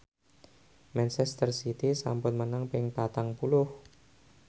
manchester city sampun menang ping patang puluh